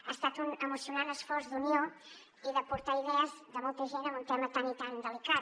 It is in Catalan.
ha estat un emocionant esforç d’unió i d’aportar idees de molta gent en un tema tan i tan delicat